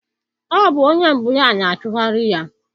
Ọ bụ onye mbụ ya na-achụgharị ya.